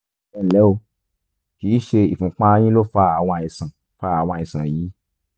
ẹnlẹ́ o kìí ṣe ìfúnpá yín ló fa àwọn àìsàn fa àwọn àìsàn yìí